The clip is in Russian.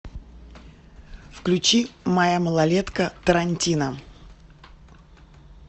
включи моя малолетка тарантино